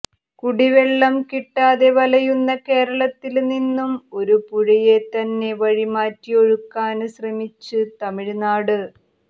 കുടിവെള്ളം കിട്ടാതെ വലയുന്ന കേരളത്തില് നിന്നും ഒരു പുഴയെത്തന്നെ വഴിമാറ്റി ഒഴുക്കാന് ശ്രമിച്ച് തമിഴ്നാട്